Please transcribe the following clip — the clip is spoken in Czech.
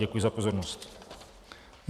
Děkuji za pozornost.